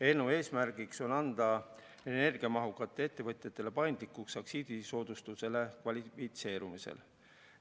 Eelnõu eesmärk on anda energiamahukatele ettevõtjatele paindlikkus aktsiisisoodustusele kvalifitseerumisel.